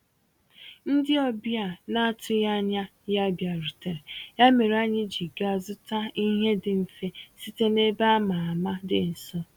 Ndị ọbịa na-atụghị anya ya bịarutere, ya mere anyị ji gaa zụta ihe dị mfe site na ebe a ma ama dị nso.